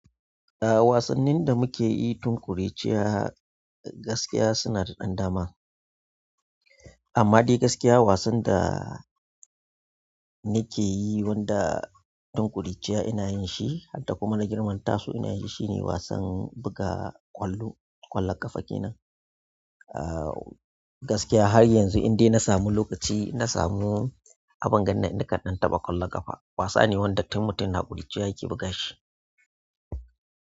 A'a wasannin da muke yi tun ƙuruciya gaskiya suna da ɗan dama amma dai gaskiya wasan da nake yi wanda tun ƙuruciya ina yin shi har da kuma na girmanta su ina yin shi shine wasan buga ƙwallo, ƙwallon ƙafa kenan. A gaskiya har yanzu in dai na samu lokaci, na samu abin gan na kan ɗan taɓa ƙwallon ƙafa. Wasa ne wanda tun mutum na ƙuruciya yake buga shi.